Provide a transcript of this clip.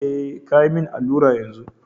Eh kayi min allura yanzu.